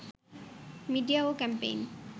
media ও campaign